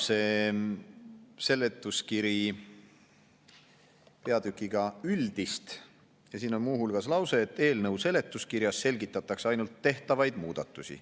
Seletuskiri algab peatükiga "Üldist" ja siin on muu hulgas lause, et eelnõu seletuskirjas selgitatakse ainult tehtavaid muudatusi.